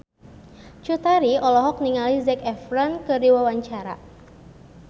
Cut Tari olohok ningali Zac Efron keur diwawancara